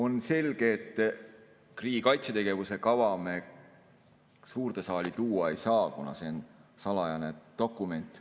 On selge, et riigi kaitsetegevuse kava me suurde saali tuua ei saa, kuna see on salajane dokument.